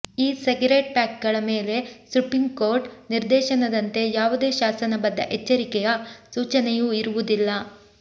ಈ ಸಿಗರೇಟ್ ಪ್ಯಾಕ್ಗಳ ಮೇಲೆ ಸುಪ್ರೀಂಕೋರ್ಟ್ ನಿರ್ದೇಶನದಂತೆ ಯಾವುದೇ ಶಾಸನಬದ್ಧ ಎಚ್ಚರಿಕೆಯ ಸೂಚನೆಯೂ ಇರುವುದಿಲ್ಲ